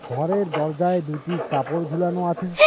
ঘরের দরজায় দুটি কাপড় ঝুলানো আছে।